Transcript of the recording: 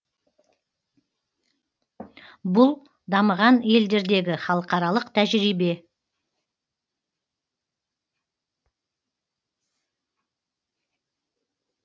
бұл дамыған елдердегі халықаралық тәжірибе